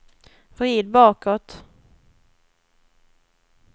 vrid bakåt